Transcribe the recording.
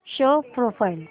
show profile